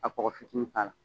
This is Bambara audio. Ka kɔgɔ fitinin k'a la